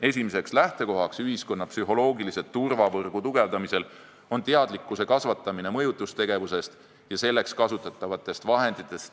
Esimene lähtekoht ühiskonna psühholoogilise turvavõrgu tugevdamisel on kasvatada teadlikkust mõjutustegevusest ja selleks kasutatavatest vahenditest.